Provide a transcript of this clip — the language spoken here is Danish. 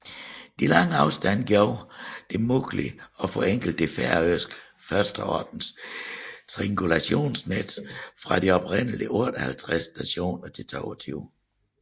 De lange afstande gjorde det muligt at forenkle det færøske førsteordens triangulationsnet fra de oprindelige 58 stationer til 22